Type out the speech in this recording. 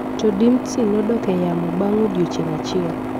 To Dimtsi nodok e yamo bang’ odiechieng’ achiel.